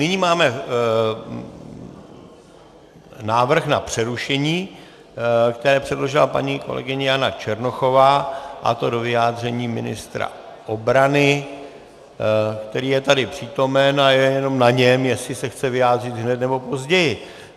Nyní máme návrh na přerušení, který předložila paní kolegyně Jana Černochová, a to do vyjádření ministra obrany, který je tady přítomen, a je jenom na něm, jestli se chce vyjádřit hned, nebo později.